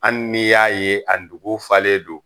Ali ni y'a ye a nugu falen don.